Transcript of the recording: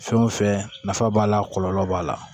Fɛn o fɛn nafa b'a la kɔlɔlɔ b'a la